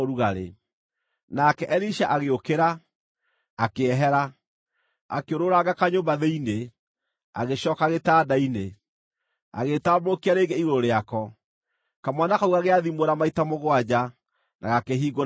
Nake Elisha agĩũkĩra, akĩehera, akĩũrũũranga kanyũmba thĩinĩ, agĩcooka gĩtanda-inĩ, agĩĩtambũrũkia rĩngĩ igũrũ rĩako. Kamwana kau gagĩathimũra maita mũgwanja, na gakĩhingũra maitho.